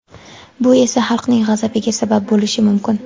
Bu esa – xalqning g‘azabiga sabab bo‘lishi mumkin.